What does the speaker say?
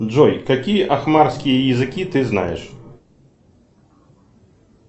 джой какие ахмарские языки ты знаешь